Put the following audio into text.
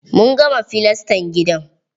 Mun gama filastan gidan.